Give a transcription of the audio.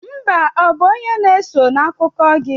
Mba ọ bụ onye na-eso' n'akụkọ gị?